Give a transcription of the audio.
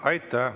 Aitäh!